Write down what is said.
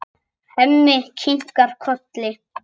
Hemmi kinkar kolli.